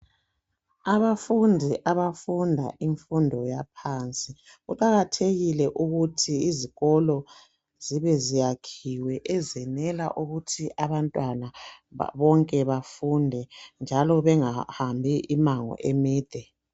Abafundi abafunda imfundo yaphansi . Kuqakathekile ukuthi izikolo zibe ziyakhiwe ezenela ukuthi abantwana bonke bafunde njalo bengahambi imango emide .